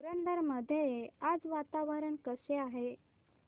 पुरंदर मध्ये आज वातावरण कसे आहे